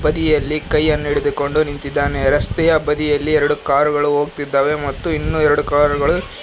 ವ್ಯಕ್ತಿ ಇಲ್ಲಿ ಕೈಯನ್ನು ಹಿಡಿದುಕೊಂಡು ನಿಂತಿದ್ದಾನೆ ರಸ್ತೆಯ ಬದಿಯಲ್ಲಿ ಎರಡು ಕಾರ್ ಗಳು ಹೋಗ್ತಿದ್ದಾವೆ ಮತ್ತು ಇನ್ನೂ ಎರಡು ಕಾರ್ ಗಳು--